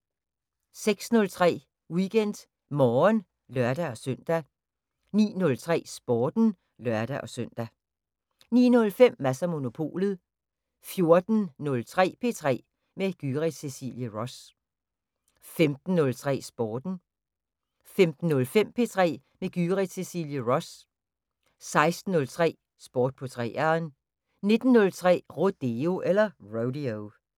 06:03: WeekendMorgen (lør-søn) 09:03: Sporten (lør-søn) 09:05: Mads & Monopolet 14:03: P3 med Gyrith Cecilie Ross 15:03: Sporten 15:05: P3 med Gyrith Cecilie Ross 16:03: Sport på 3'eren 19:03: Rodeo